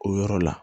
O yɔrɔ la